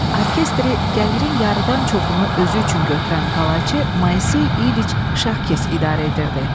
Orkestri gəlirin yarıdan çoxunu özü üçün götürən Qalaçı Moysey İliç Şahkes idarə edirdi.